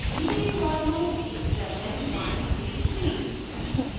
भीतरी for loop expression 123